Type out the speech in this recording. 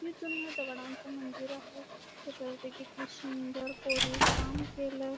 किती जुनं दगडांच मंदिर आहे त्याच्यावरती किती सुंदर कोरीव काम केलय.